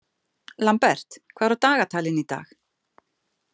Lambert, hvað er á dagatalinu í dag?